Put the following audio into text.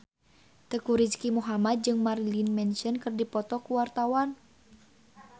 Teuku Rizky Muhammad jeung Marilyn Manson keur dipoto ku wartawan